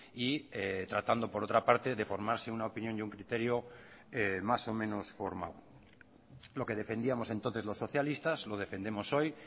y tratando por otra parte de formarse una opinión y un criterio más o menos formal lo que defendíamos entonces los socialistas lo defendemos hoy